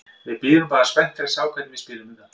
Við bíðum bara spenntir að sjá hvernig við spilum þetta.